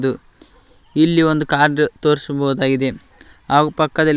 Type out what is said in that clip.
ಇದು ಇಲ್ಲಿ ಒಂದು ಕಾರ್ ತೋರಿಸ್ಬಹುದಾಗಿದೆ ಹಾಗೂ ಪಕ್ಕದಲ್ಲಿ--